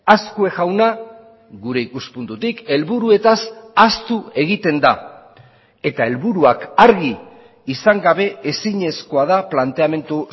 azkue jauna gure ikuspuntutik helburuetaz ahaztu egiten da eta helburuak argi izan gabe ezinezkoa da planteamendu